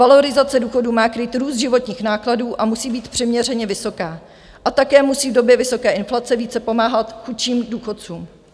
Valorizace důchodů má krýt růst životních nákladů a musí být přiměřeně vysoká a také musí v době vysoké inflace více pomáhat chudším důchodcům.